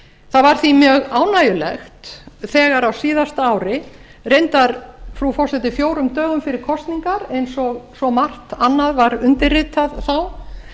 það var því mjög ánægjulegt þegar á síðasta ári reyndar frú forseti fjórum dögum fyrir kosningar eins og svo margt annað var undirritað þá